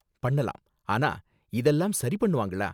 பண்ணலாம், ஆனா இதெல்லாம் சரி பண்ணுவாங்களா?